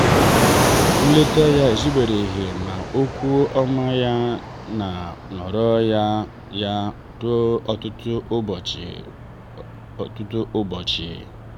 nleta ya ezubereghị ma okwu ọma ya nọrọ na ya ruo ọtụtụ ụbọchị. ruo ọtụtụ ụbọchị.